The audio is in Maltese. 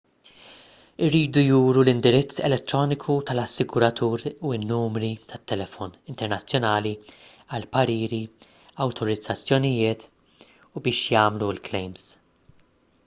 iridu juru l-indirizz elettroniku tal-assiguratur u n-numri tal-telefon internazzjonali għall-pariri/awtorizzazzjonijiet u biex jagħmlu l-klejms